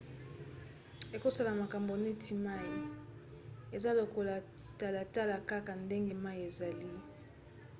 ekosala makambo neti mai. eza lokola talatala kaka ndenge mai ezali